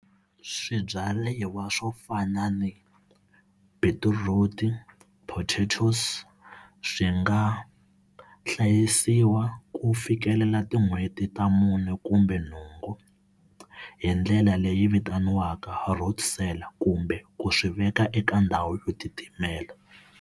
Swibyariwa swo fana ni beetroot, potatoes swi nga hlayisiwa ku fikelela tin'hweti ta mune kumbe nhungu hi ndlela leyi vitaniwaka road sell kumbe ku swi veka eka ndhawu yo titimela.